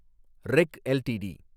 ரெக் LTD